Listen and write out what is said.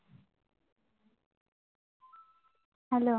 hello